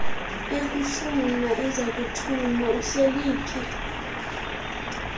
ekufuna ezakuthuma uhleliphi